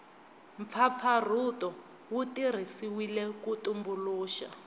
mpfapfarhuto wu tirhisiwile ku tumbuluxa